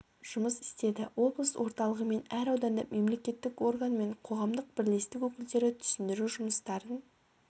жұмыс істеді облыс орталығы мен әр ауданда мемлекеттік орган мен қоғамдық бірлестік өкілдері түсіндіру жұмыстарын